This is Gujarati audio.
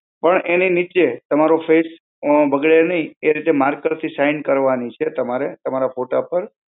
પણ એની નીચે, તમારો fence અ બગડે નહીં એ રીતે marker થી sign કરવાની છે, તમારે તમારા ફોટા પર.